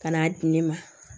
Ka n'a di ne ma